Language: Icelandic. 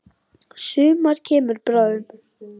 Sumar kemur bráðum.